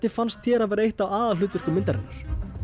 fannst þér að vera eitt af aðalhlutverkum myndarinnar